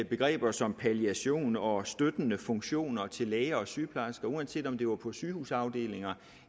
begreber som palliation og støttende funktioner til læger og sygeplejersker uanset om det var på sygehusafdelinger